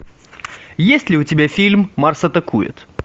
есть ли у тебя фильм марс атакует